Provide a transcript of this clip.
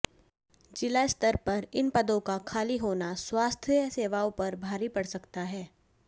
जिला स्तर पर इन पदों का खाली होना स्वास्थ्य सेवाओं पर भारी पड़ सकता है